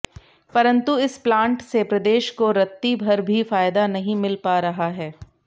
परंतु इस प्लांट से प्रदेश को रतिभर भी फायदा नहीं मिल पा रहा है